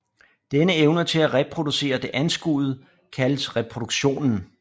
Denne evne til at reproducere det anskuede kaldes reproduktionen